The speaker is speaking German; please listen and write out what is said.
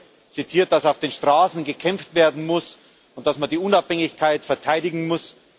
Es wurde zitiert, dass auf den Straßen gekämpft werden muss und dass man die Unabhängigkeit verteidigen muss.